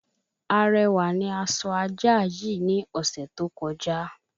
Arẹwà ni a sọ ajá yii ní ọ̀sẹ̀ tó kọjá